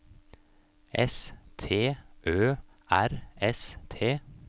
S T Ø R S T